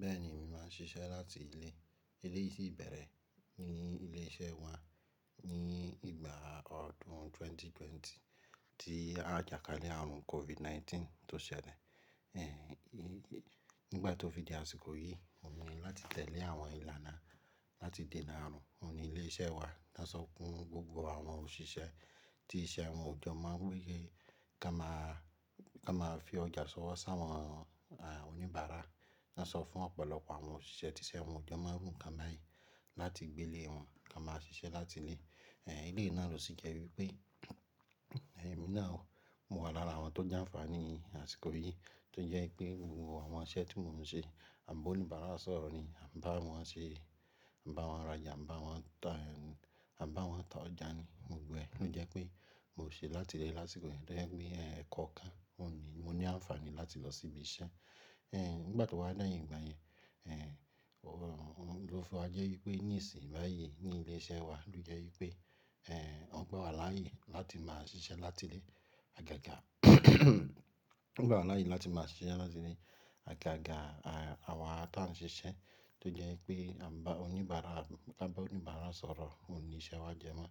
Bẹ́ẹ̀ni, èmi máa ń ṣiṣẹ́ láti ilé. Eléyìí si bẹ̀rẹ̀ ní ilé iṣẹ́ wa ní ìgbà ọdún ẹgbẹ̀rún méjì ó lé ogún tí a jà kalẹ̀ ààrùn COVID-19 tó ṣẹlẹ̀. Ẹ̀hì, nígbà tó fi di àsìkò yìí, wọ́n ní láti tẹ̀lé àwọn ìlànà láti dènà ààrùn. Wọ́n ni ilé iṣẹ́ wa dá sọ fún gbogbo àwọn òṣìṣẹ́ ti iṣẹ́ wọn ò jọ́ mọ ń gbéye ká máa, ká máa fi ọjà sọ wọ́ sá àwọn, àh, oníbàárà. Wọ́n sọ fún ọ̀pọ̀lọpọ̀ àwọn òṣìṣẹ́ ti iṣẹ́ àwọn òjọ́ mọ irú nkan bayii nǹkan báyìí láti gbé lé wọn ká máa ṣiṣẹ́ láti ilé. Ẹ̀h, eleyi náà ló sì jẹ́ wípé, èmi náà mo wà lára àwọn tó jàǹfààní àsìkò yìí tó jẹ́ wípé gbogbo àwọn iṣẹ́ tí mò ń ṣe, àn bá oníbàárà sọ̀rọ̀ ni, àn bá wọn ṣe, àn bá wọn rajà, àn bá wọn tà, àn bá wọn tà ọjà ni mò ń gbogbo ẹ. Ó jẹ́ pé mò ń ṣe láti ilé lásìkò yìí tó jẹ́ pé, ẹ̀, kọ̀ọ̀kan wọ́n ní, mo ní àǹfààní láti lọ síbi iṣẹ́. Ẹ̀h, nígbà tí wo dẹyín gbà yẹn, ẹ̀, òhùn ló fiwa jẹ́ wípé ní ìsìn báyìí ní ilé iṣẹ́ wa ló jẹ́ wípé, ẹ̀, wọ́n gba wa láàyè láti máa ṣiṣẹ́ láti ilé. Agaga wọ́n gba wa láàyè láti máa ṣiṣẹ́ láti ilé. A ga ga, àh, àwa tan ń ṣiṣẹ́ tó jẹ́ wípé àn bá oníbàárà, àn bá oníbàárà sọ̀rọ̀ òun ní iṣẹ́ wa jẹ mọ́.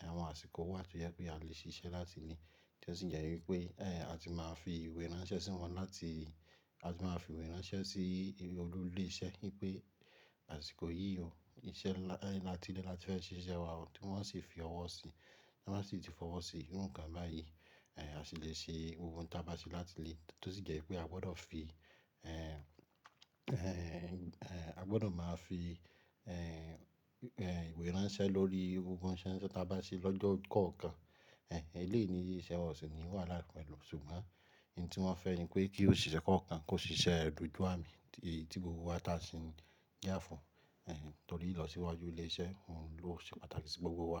Ẹ̀h, àwọn àsìkò wà tí ó jẹ́ pé a lè ṣiṣẹ́ láti ilé tí ó sì jẹ́ wípé, ẹ́, a ti máa fi ìwé ránṣẹ́ sí wọn láti, a ti máa fi ìwé ránṣẹ́ sí olú ilé iṣẹ́ wípé àsìkò yìí o, iṣẹ́ lá-- ẹ́, láti ilé láti fẹ́ ṣiṣẹ́ wa, ohun tí wọ́n ṣi fi ọwọ́ sí, tí wọ́n sì ti fọwọ́ sí, nǹkan báyìí, ẹ̀, a sì lè ṣe ohun tí a bá ṣe láti ilé tó sì jẹ́ wípé a gbọdọ̀ fi, ẹ́, ẹ́, ẹ́, a gbọdọ̀ máa fi, ẹ́, ẹ́, ìwé ránṣẹ́ lórí gbogbo ohunṣẹ́ tí a bá ṣe lọ́jọ́ kọ̀ọ̀kan. Ẹ̀h, eléyìí ní iṣẹ́ wa o si ni wahala pẹ̀lú, ṣùgbọ́n ìn tí wọ́n fẹ́ ni pé kí òṣìṣẹ́ kọ̀ọ̀kan kó ṣiṣẹ́ dojú àmì tí gbogbo wa tàsí ń yà fún, ẹ̀hì, tòrí ìlọsíwájú ilé iṣẹ́ ohun ló ṣe pàtàkì sí gbogbo wa.